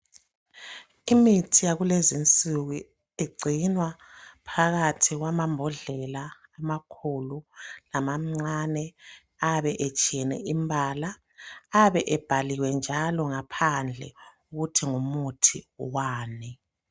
Imithi yakulezinsuku igcinwa phakathi kwamambodlela amakhulu lamancane, ayabe etshiyene imbala ayabe ebhaliwe njalo ngaphandle ukuthi ngumuthi wani.